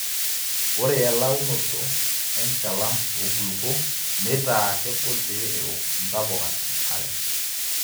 ore elaunoto enchalan oo nkulupuok neitaa kegol pee eouk intapuka enkare